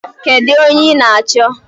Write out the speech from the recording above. Kedu onye ị na-achọ?